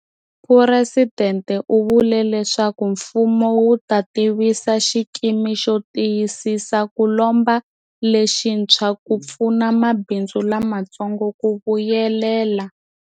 Presidente u vule leswaku mfumo wu ta tivisa xikimi xo tiyisisa ku lomba lexintshwa ku pfuna mabindzu lamatsongo ku vuyelela.